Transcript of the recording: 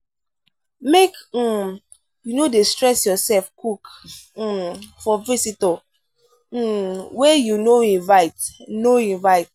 make um you no dey stress yoursef cook um for visitor um wey you no invite. no invite.